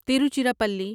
Tiruchirappalli